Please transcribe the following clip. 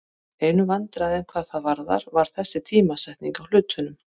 Einu vandræðin hvað það varðar var þessi tímasetning á hlutunum.